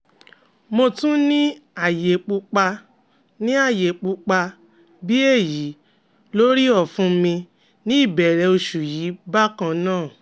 Mo tun ni aaye pupa ni aaye pupa bi eyi lori ọfun mi ni ibẹrẹ oṣu yii bakan naa